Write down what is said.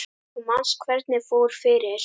Þú manst hvernig fór fyrir